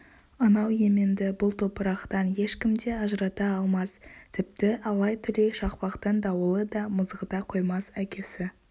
анау еменді бұл топырақтан ешкім де ажырата алмас тіпті алай-түлей шақпақтың дауылы да мызғыта қоймас әкесі